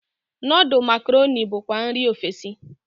Nudul makaroni bukwa nri ofesi.